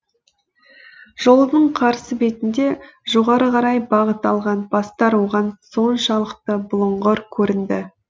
жолдың қарсы бетінде жоғары қарай бағыт алған бастар оған соншалықты бұлыңғыр көрінді